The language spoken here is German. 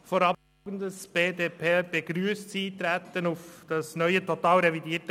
Vorab: Die BDP begrüsst das Eintreten auf das neue, totalrevidierte